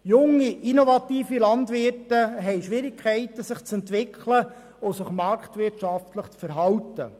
Junge, innovative Landwirte haben Schwierigkeiten, sich zu entwickeln und sich marktwirtschaftlich zu verhalten.